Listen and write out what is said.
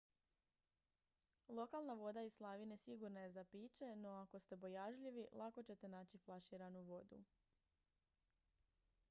lokalna voda iz slavine sigurna je za piće no ako ste bojažljivi lako ćete naći flaširanu vodu